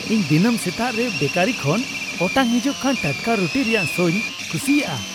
ᱤᱧ ᱫᱤᱱᱟᱹᱢ ᱥᱮᱛᱟᱜ ᱨᱮ ᱵᱮᱠᱟᱨᱤ ᱠᱷᱚᱱ ᱚᱴᱟᱝ ᱦᱤᱡᱩᱜ ᱠᱟᱱ ᱴᱟᱴᱠᱟ ᱨᱩᱴᱤ ᱨᱮᱭᱟᱜ ᱥᱚᱧ ᱠᱩᱥᱤᱭᱟᱜᱼᱟ ᱾